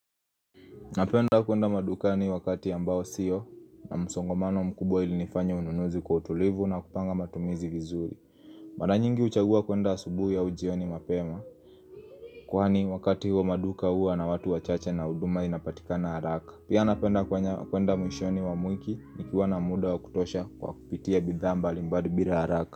Napenda kwenda madukani wakati ambao usiyo na msongomano mkubwa ili nifanya ununuzi kwa utulivu na kupanga matumizi vizuri Mara nyingi huchagua kwenda asubui au jioni mapema kwani wakati huo maduka huwa na watu wachache na huduma inapatikana haraka Pia napenda kwenda mwishoni wa wiki nikiwa na muda wa kutosha kwa kupitia bidhaa mbali mbali bila haraka.